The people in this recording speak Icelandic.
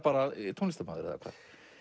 tónlistarmaður eða hvað